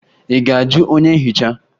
Ị ga-ajụ onye nhicha?